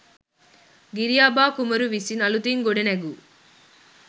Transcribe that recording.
ගිරිඅබා කුමරු විසින් අලුතින් ගොඩනැගූ